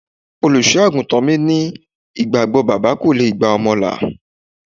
Olùsọ-àgùntàn mi ní ìgbàgbọ́ bàbá kò gba ọmọ là.